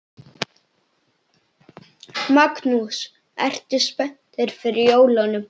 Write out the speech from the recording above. Magnús: Ertu spenntur fyrir jólunum?